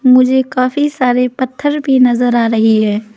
मुझे काफी सारे पत्थर भी नजर आ रही है।